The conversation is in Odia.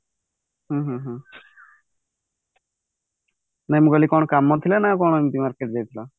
ହୁଁ ହୁଁ ହୁଁ ନା ମୁଁ କହିଲି କଣ କାମ ଥିଲା କି କଣ ଏମିତେ market ଯାଇଥିଲ